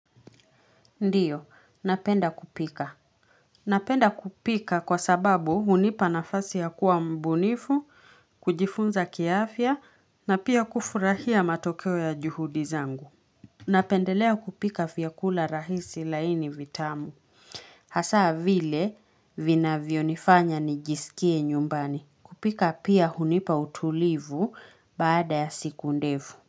Ndiyo, napenda kupika. Napenda kupika kwa sababu, hunipa nafasi ya kuwa mbunifu, kujifunza kiaafya, na pia kufurahia matokeo ya juhudi zangu. Napendelea kupika vyakula rahisi, laini, vitamu. Hasa, vile vinavyonifanya nijisikie nyumbani. Kupika pia hunipa utulivu baada ya siku ndefu.